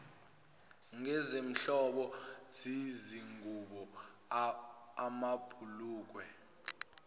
ngezinhlobo zezingubo amabhulukwe